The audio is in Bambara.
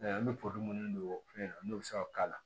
An bɛ minnu don o fɛn na n'o bɛ se ka k'a la